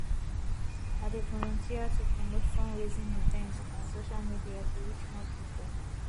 i dey volunteer to promote fundraising events on social media to reach more people